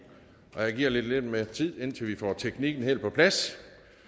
jeg giver lige lidt mere tid indtil vi får teknikken helt på plads